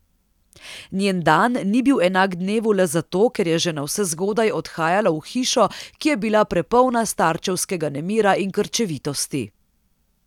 Njen dan ni bil enak dnevu le zato, ker je že navsezgodaj odhajala v hišo, ki je bila prepolna starčevskega nemira in krčevitosti.